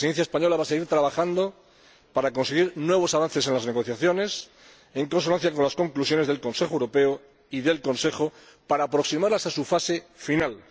La Presidencia española va a seguir trabajando para conseguir nuevos avances en las negociaciones, en consonancia con las conclusiones del Consejo Europeo y del Consejo, para aproximarlas a su fase final.